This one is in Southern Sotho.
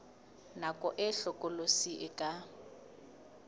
nako e hlokolosi e ka